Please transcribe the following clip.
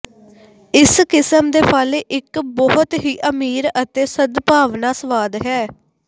ਇਸ ਕਿਸਮ ਦੇ ਫਲ ਇੱਕ ਬਹੁਤ ਹੀ ਅਮੀਰ ਅਤੇ ਸਦਭਾਵਨਾ ਸਵਾਦ ਹੈ